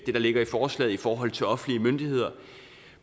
ligger i forslaget i forhold til offentlige myndigheder